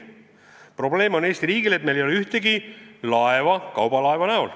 Ja see probleem on, et meil ei ole ühtegi kaubalaeva.